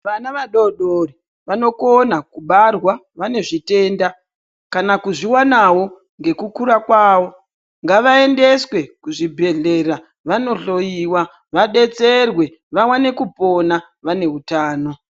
Vana vadodori vanokona kubarwa vanezvitenda kana kuzviwanawo ngekukura kwawo ngavaendeswe kuzvibhedhlera vanohloyiwa vadetserwe vaone kupona vane utano.